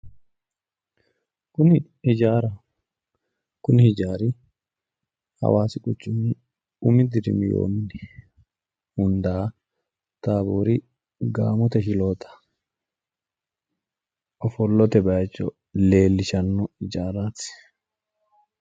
Kuni ijaaraho kuni ijaari hawaasi quchumi umi dirimi yoo mini hundaa taaboori gaamote shiloota ofollote bayicho leellishanno ijaaraati